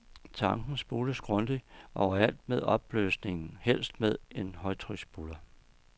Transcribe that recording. Tanken spules grundigt og overalt med opløsningen, helst med en højtryksspuler.